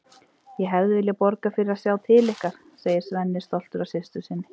Ég hefði viljað borga fyrir að sjá til ykkar, segir Svenni, stoltur af systur sinni.